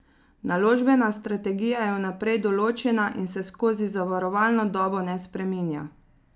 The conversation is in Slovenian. Naložbena strategija je vnaprej določena in se skozi zavarovalno dobo ne spreminja.